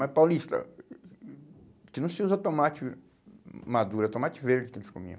Mas, Paulista, aqui não se usa tomate maduro, é tomate verde que eles comiam.